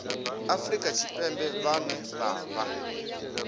afrika tshipembe vhane vha vha